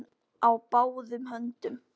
Hann var bundinn á báðum höndum.